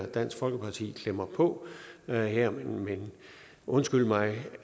at dansk folkeparti klemmer på her men undskyld mig